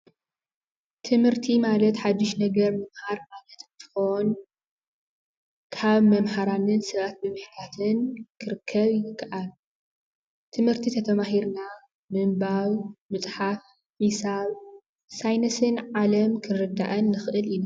ትምህርቲ ማለት ሓድሽ ነገር ምምሃር ማለት እንትኮን ካብ መማህራንን ሰባትን ብምሕታት ክርከብ ይከኣል። ትምህርቲ ተተማሂርና ምንባብ ምፅሓፍ ሒሳብ ፣ሳይንስን ዓለም ክንርዳእን ንክእል ኢና ።